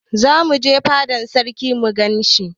Zamu je fada na sarki mu gan shi.